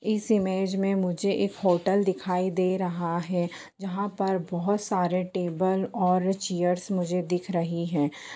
इस इमेज में मुझे एक होटल दिखाई दे रहा है जहाँ पर बहुत सारे टेबल और चेयर्स मुझे दिख रहीं हैं।